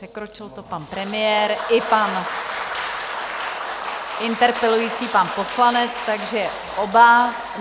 Překročil to pan premiér i pan interpelující pan poslanec, takže oba.